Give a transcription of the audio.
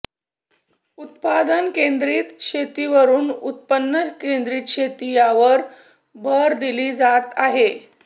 उत्पादन केंद्रित शेतीवरून उत्पन्न केंद्रित शेती यावर भर दिला जात आहे